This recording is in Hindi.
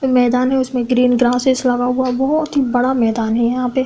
मैदान है उसमें ग्रीन ग्रासेज लगा हुआ बहोत ही बड़ा मैदान है यहां पे।